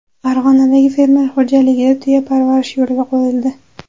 Farg‘onadagi fermer xo‘jaligida tuya parvarishi yo‘lga qo‘yildi.